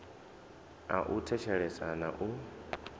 a u thetshelesa na u